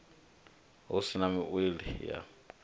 hu si na wili ha